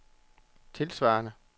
tilsvarende